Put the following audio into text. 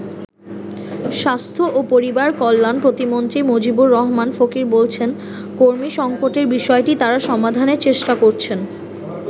স্বাস্থ্য ও পরিবার কল্যাণ প্রতিমন্ত্রী মজিবুর রহমান ফকির বলছেন, কর্মী সংকটের বিষয়টি তারা সমাধানের চেষ্টা করছেন।